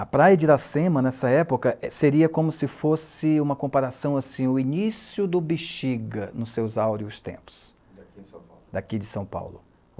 A Praia de Iracema, nessa época, seria como se fosse uma comparação, assim, o início do Bixiga, nos seus áureos-tempos, daqui de São Paulo. Daqui de São Paulo